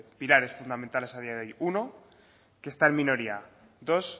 pilares fundamentales a día de hoy uno que está en minoría dos